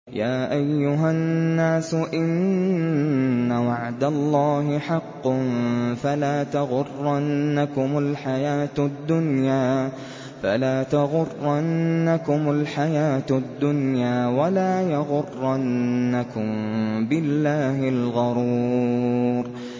يَا أَيُّهَا النَّاسُ إِنَّ وَعْدَ اللَّهِ حَقٌّ ۖ فَلَا تَغُرَّنَّكُمُ الْحَيَاةُ الدُّنْيَا ۖ وَلَا يَغُرَّنَّكُم بِاللَّهِ الْغَرُورُ